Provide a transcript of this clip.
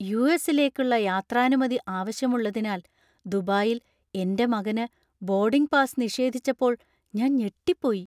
യു.എസി.ലേക്കുള്ള യാത്രാനുമതി ആവശ്യമുള്ളതിനാൽ ദുബായിൽ എന്‍റെ മകന് ബോർഡിംഗ് പാസ് നിഷേധിച്ചപ്പോൾ ഞാൻ ഞെട്ടിപ്പോയി.